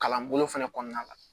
Kalanbolo fɛnɛ kɔnɔna la